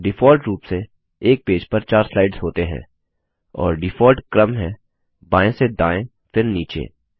default रुप से एक पेज पर 4 स्लाइड्स होते हैं और डिफॉल्ट क्रम है बाएं से दाएं फिर नीचे